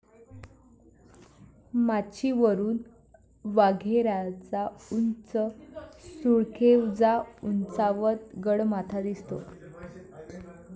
माचीवरून वाघेऱ्याचा उंच सुळकेवजा उंचावत, गडमाथा दिसतो.